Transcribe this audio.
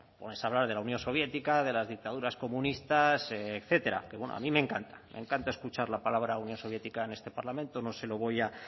para ponerse hablar de la unión soviética de las dictaduras comunistas etcétera que bueno a mí me encanta me encanta escuchar la palabra unión soviética en este parlamento